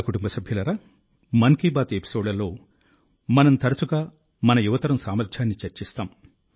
నా కుటుంబ సభ్యులారా మన్ కీ బాత్ ఎపిసోడ్లలో మనం తరచుగా మన యువతరం సామర్థ్యాన్ని చర్చిస్తాం